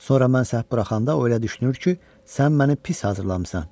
sonra mən səhv buraxanda o elə düşünür ki, sən məni pis hazırlamısan.